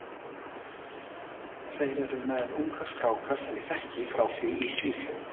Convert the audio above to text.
Þeir eru með unga stráka sem ég þekki frá því í Svíþjóð.